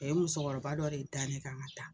A ye musɔkɔrɔba dɔ de da ne kan ka taa